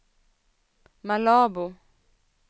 Malabo